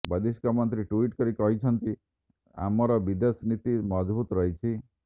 ବୈଦେଶିକ ମନ୍ତ୍ରୀ ଟ୍ବିଟ୍ କରି କହିଛନ୍ତି ଆମର ବିଦେଶ ନୀତି ମଜବୁତ ରହିଛି